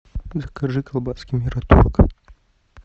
закажи колбаски мираторг